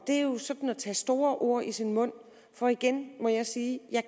er jo sådan at tage store ord i sin mund for igen må jeg sige at jeg